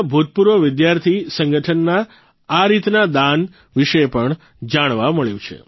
ના ભૂતપૂર્વ વિદ્યાર્થી સંગઠનના આ રીતના દાન વિશે પણ જાણવા મળ્યું છે